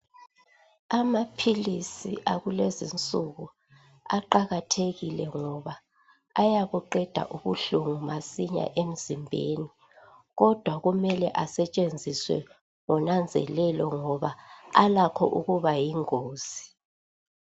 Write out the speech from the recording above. Amaphilisi akulezi insuku aqakathekile ngoba ayabuqeda ubuhlungu masinya emzimbeni kodwa kumele asetshenziswa ngonanzelelo ngoba alakho ukuba yingozi.